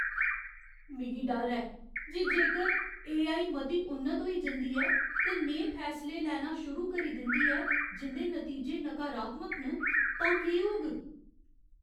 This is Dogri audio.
मिगी डर ऐ जे जेकर एआई मती उन्नत होई जंदी ऐ ते नेहे फैसले लैना शुरू करी दिंदी ऐ जिं'दे नतीजे नकारात्मक न, तां केह् होग।